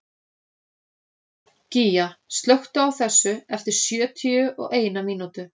Gígja, slökktu á þessu eftir sjötíu og eina mínútur.